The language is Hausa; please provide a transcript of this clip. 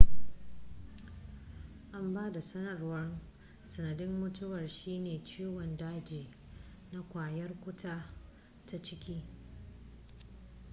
an ba da sanarwar sanadin mutuwar shine ciwon daji na ƙwayar cuta ta ciki